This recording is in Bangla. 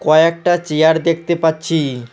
কয়েকটা চিয়ার দেখতে পাচ্ছি।